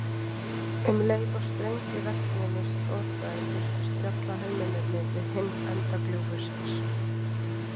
Um leið og sprengjuregninu slotaði birtust fjallahermennirnir við hinn enda gljúfursins.